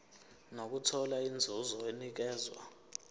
nokuthola inzuzo enikezwa